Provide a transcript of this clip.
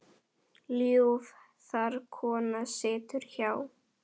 Ljúf þar kona situr hjá.